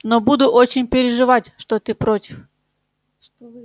но буду очень переживать что ты против